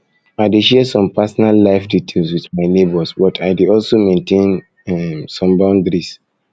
i dey share some personal life details with my neighbors but i dey also maintain um some boundaries